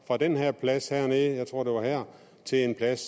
fra den her plads hernede jeg tror det var her til en plads